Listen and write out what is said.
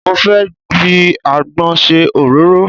Mo fẹ́ fi àgbọn ṣe òróró.